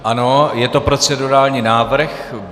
Ano, je to procedurální návrh.